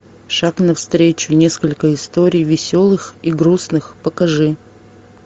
шаг навстречу несколько историй веселых и грустных покажи